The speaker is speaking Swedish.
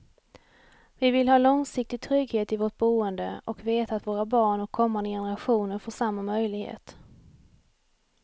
Vi vill ha långsiktig trygghet i vårt boende och veta att våra barn och kommande generationer får samma möjlighet.